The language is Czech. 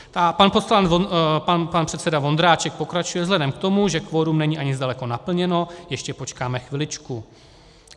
Pan předseda Vondráček pokračuje: Vzhledem k tomu, že kvorum není ani zdaleka naplněno - ještě počkáme chviličku.